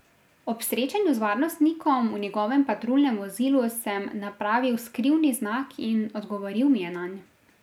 Ob srečanju z varnostnikom v njegovem patruljnem vozilu sem napravil skrivni znak in odgovoril mi je nanj.